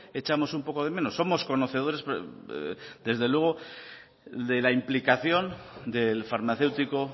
echamos un poco de menos somos conocedores desde luego de la implicación del farmacéutico